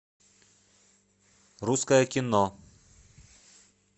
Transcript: русское кино